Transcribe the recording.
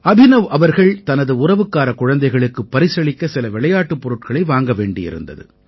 அபினவ் அவர்கள் தனது உறவுக்காரக் குழந்தைகளுக்கு பரிசளிக்க சில விளையாட்டுப் பொருட்களை வாங்க வேண்டியிருந்தது